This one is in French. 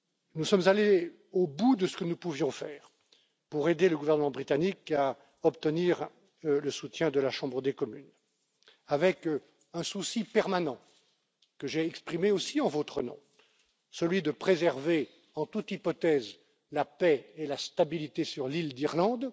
Nous sommes allés au bout de ce que nous pouvions faire pour aider le gouvernement britannique à obtenir le soutien de la Chambre des communes, dans le souci permanent, que j'ai exprimé aussi en votre nom, celui de préserver, en toute hypothèse, la paix et la stabilité sur l'île d'Irlande.